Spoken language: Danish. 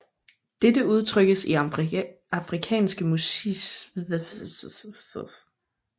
Dette udtrykkes i afrikanske musiske melodier og rytmer